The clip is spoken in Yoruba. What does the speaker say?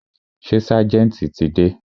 Ṣé ságẹ̀ntì ti dé?